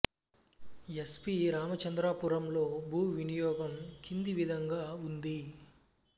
yes P రామచంద్రపురంలో భూ వినియోగం కింది విధంగా ఉంది